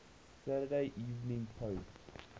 saturday evening post